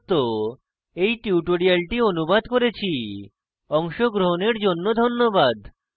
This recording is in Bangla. আমি কৌশিক দত্ত এই টিউটোরিয়ালটি অনুবাদ করেছি অংশগ্রহনের জন্য ধন্যবাদ